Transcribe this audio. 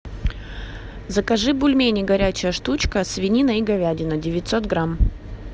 закажи бульмени горячая штучка свинина и говядина девятьсот грамм